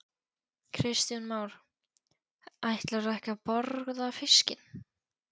Kristján Már: Ætlarðu ekki að borða fiskinn?